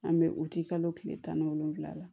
An bɛ o ti kalo kile tan ni wolonwula la